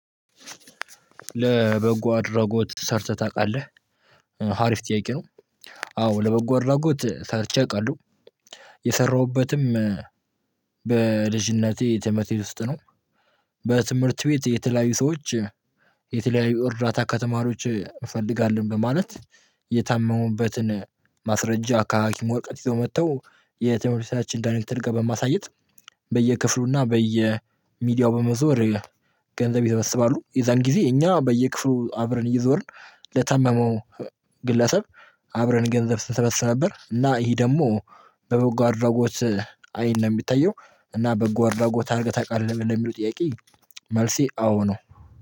ለበጎ አድራጎት ሰርተህ ታውቃለህ ሀሪፍ ጥያቄ ነው? አዎ ለበጎ አድራጎት ሰርቼ አውቃለሁ። የሰራሁበትም በልጅነቴ ትምህርት ቤት ውስጥ ነው። በትምህርት ቤት የተለያዩ ሰዎች የተለያዩ እርዳታ ከተማሪዎች እንፈልጋለን። በማለት የታመሙበትን ማስረጃ ከሀኪም ወረቀት ይዘው መጥተው የትምህርት ቤታችን ዳይሬክተር ጋር በማሳየት። በየክፍሉ እና በየሚዲያው በመዞር ገንዘብ ይሰበስባሉ። የዛን ጊዜ እኛ በየክፍሉ አብረን እየዞርን ለታመመው ግለሰብ አብረን ገንዘብ ስንሰበስብ ነበር። እና ይሄ ደግሞ በበጎ አድራጎት አይን ነው የሚታየው። እና በበጎ አድራጎት አድርገህ ታውቃለህ የሚሉት ጥያቄ? መልሴ አዎ ነው